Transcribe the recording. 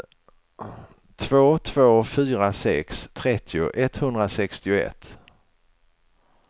två två fyra sex trettio etthundrasextioett